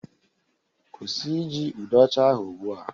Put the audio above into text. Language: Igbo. Kwụsị iji ude ocha ahụ ugbu a